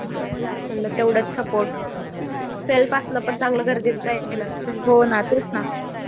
म्हंटल तेव्हडाच support self पूर्ण असलेल पण तेव्हडाच गरजेचं आहे ना